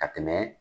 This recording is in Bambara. Ka tɛmɛ